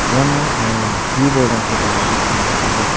iano anga gue bolrangkoba nikna man·enga.